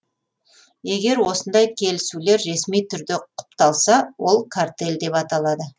егер осындай келісулер ресми түрде құпталса ол картель деп аталады